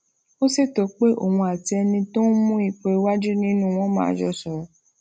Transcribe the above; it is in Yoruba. ó ṣètò pé òun àti ẹni tó ń mú ipò iwájú nínú wọn máa jọ sọrọ